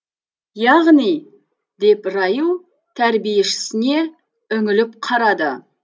яғни деп райл тәрбиешісіне үңіліп қарады